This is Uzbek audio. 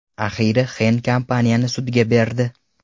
Axiyri Xenn kompaniyani sudga berdi.